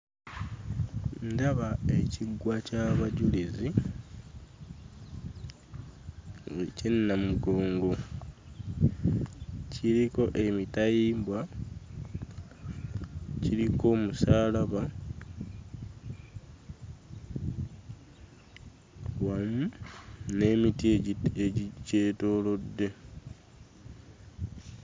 Ndaba ekiggwa ky'abajulizi eky'e Namugongo. Kiriko emitayimbwa, kiriko omusaalaba wamu n'emiti egikyetoolodde.